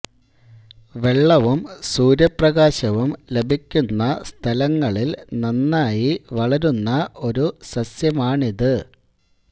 വെള്ളവും സൂര്യപ്രകാശവും ലഭിക്കുന്ന സ്ഥലങ്ങളിൽ നന്നായി വളരുന്ന ഒരു സസ്യമാണിത്